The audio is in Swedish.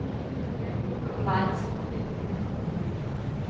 Mangskog